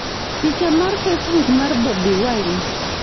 Picha mar Facebook mar Bobi Wine.